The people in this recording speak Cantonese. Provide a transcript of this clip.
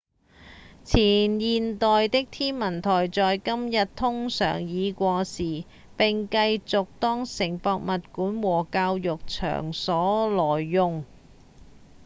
前現代的天文台在今日通常已過時並繼續當成博物館或教育場所來用